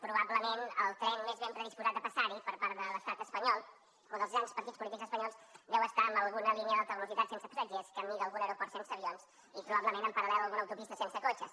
probablement el tren més ben predisposat a passar hi per part de l’estat espanyol o dels grans partits polítics espanyols deu estar en alguna línia d’alta velocitat sense passatgers camí d’algun aeroport sense avions i probablement en paralguna autopista sense cotxes